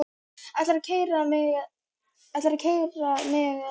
Ætlarðu að keyra mig eða ekki?